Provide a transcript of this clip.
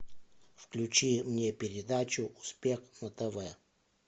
включи мне передачу успех на тв